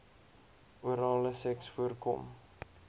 orale seks voorkom